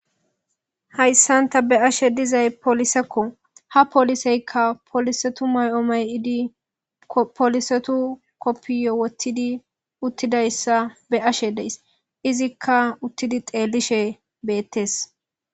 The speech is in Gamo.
hayssanta be ashe dizay polisekko ha poliseykka poolisetu may7omayidi polisetu koppiyo wottidi uttidayssa be ashe deys izikka uttidi xeellishe beettes